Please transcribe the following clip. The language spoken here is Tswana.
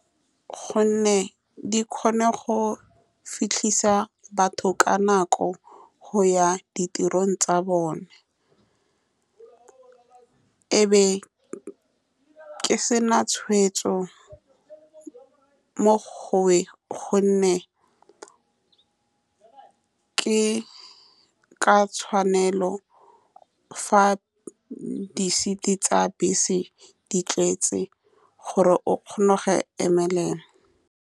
Ka gonne di kgona go fitlhisa batho ka nako go ya ditirong tsa bone, e be ke se na tshweetso mo go ka gonne ke ka tshwanelo fa di seat-i tsa bese di tletse gore o kgone go emelela.